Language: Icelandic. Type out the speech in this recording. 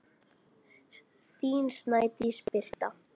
Þín Snædís Birta.